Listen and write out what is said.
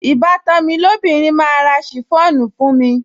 Ìbátan mi lóbìnrin máa ra ṣìfọ́ònù fún mi